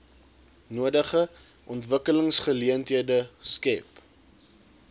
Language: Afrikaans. nodige ontwikkelingsgeleenthede skep